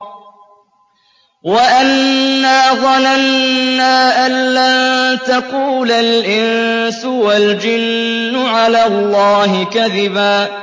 وَأَنَّا ظَنَنَّا أَن لَّن تَقُولَ الْإِنسُ وَالْجِنُّ عَلَى اللَّهِ كَذِبًا